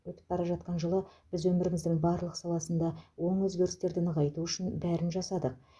өтіп бара жатқан жылы біз өміріміздің барлық саласында оң өзгерістерді нығайту үшін бәрін жасадық